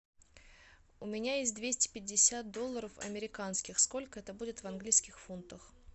у меня есть двести пятьдесят долларов американских сколько это будет в английских фунтах